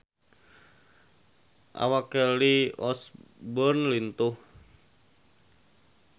Awak Kelly Osbourne lintuh